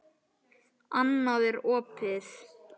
Annað er opið.